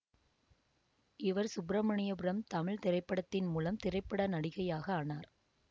இவர் சுப்ரமணியபுரம் தமிழ் திரைப்படத்தின் மூலம் திரைப்பட நடிகையாக ஆனார்